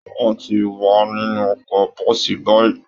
Wọn ti wà nínú ọkọ̀ bọ́ọ̀sì báyìí